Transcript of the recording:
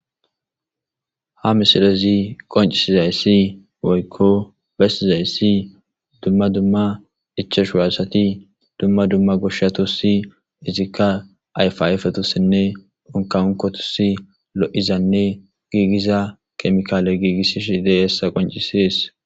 Ha misilezi qoncisizayssi woykko bestizayssi dumma dumma ichashuwasati dumma dumma goshshatossi izikka ayfayfetossinne onkaunkotosi lo7izanne giigiza kemikaale giigissi sidey hessa qoncisees.